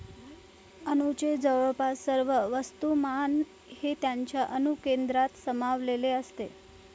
अणूचे जवळपास सर्व वस्तूमान हे त्याच्या अणुकेंद्रकात सामावलेले असते.